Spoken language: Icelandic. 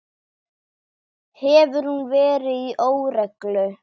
Hefur hún verið í óreglu?